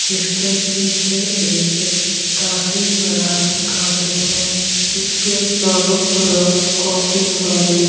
जिसके पीछे एक काफी बड़ा गार्डन है जिसके चारों तरफ काफी सारे --